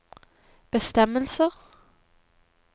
bestemmelser